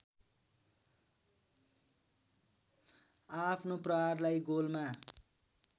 आआफ्नो प्रहारलाई गोलमा